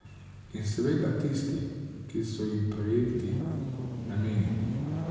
In seveda tisti, ki so jim projekti namenjeni.